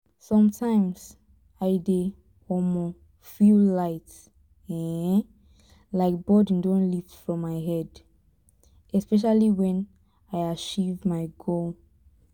sometimes i dey um feel light um like burden don lift from my head especially when i achieve my goal